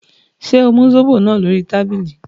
Ṣé o mu zobo náà lórí tábìlì?